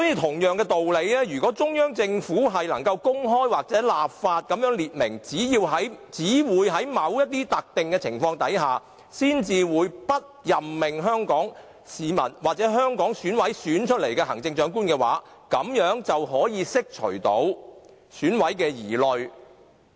同樣道理，如果中央政府能夠公開或立法訂明只在某些特定情況下，才會不任命由香港市民或香港選委選出的行政長官，便可釋除選委的疑慮。